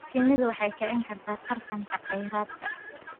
Shinnidu waxay kicin kartaa tartanka kheyraadka.